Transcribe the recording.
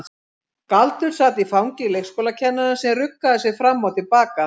Galdur sat í fangi leikskólakennarans sem ruggaði sér fram og til baka.